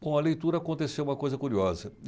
Bom, a leitura aconteceu uma coisa curiosa.